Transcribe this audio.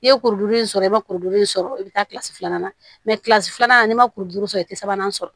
I ye kuru in sɔrɔ i ma kuru in sɔrɔ i bɛ taa filanan na filanan ni ma kuru duuru sɔrɔ i tɛ sabanan sɔrɔ